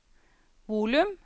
volum